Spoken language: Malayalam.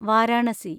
വാരാണസി